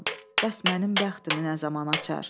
Bəs mənim bəxtimi nə zaman açar?